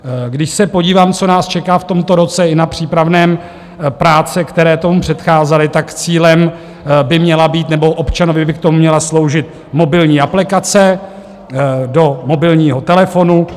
Když se podívám, co nás čeká v tomto roce, i na přípravné práce, které tomu předcházely, tak cílem by měla být, nebo občanovi by k tomu měla sloužit mobilní aplikace do mobilního telefonu.